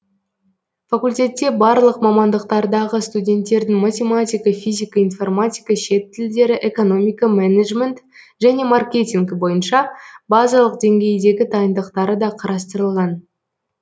факультетте барлық мамандықтардағы студенттердің математика физика информатика шет тілдері экономика менеджмент және маркетинг бойынша базалық деңгейдегі дайындықтары да қарастырылған